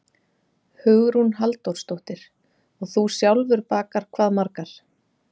Hugrún Halldórsdóttir: Og þú sjálfur bakar hvað margar?